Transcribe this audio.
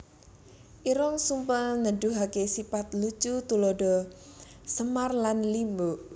Irung Sumpel Nuduhaké sipat lucu tuladha Semar lan Limbuk